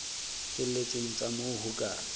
felletseng tsa moo ho ka